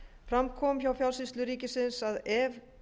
fram kom hjá fjársýslu ríkisins að ef